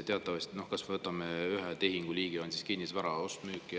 Kui me võtame ühe tehinguliigi, mis on kinnisvara ost, müük